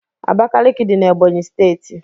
Abakiliki dị n' Ebonyi steeti.